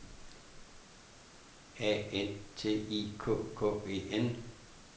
A N T I K K E N